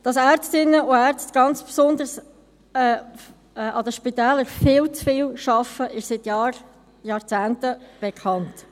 Dass Ärztinnen und Ärzte, ganz besonders an den Spitälern, viel zu viel arbeiten, ist seit Jahrzehnten bekannt.